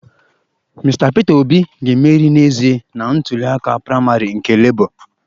Mr Peter Obi ga-emeri n'ezie na ntuli aka praịmarị nke labour